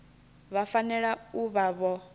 vha fanela u vha vho